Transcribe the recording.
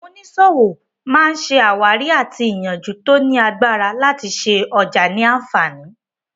Àwọn oníṣòwò má ṣe àwárí àti ìyànjú tí ó ní agbára láti ṣe ọjà ní àǹfààní